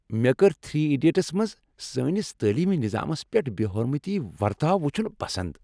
مےٚ كٔر "three idiots" منٛز سانس تعلیمی نِظامس پیٹھ بے حرمتی ورتاو وچھُن پسند۔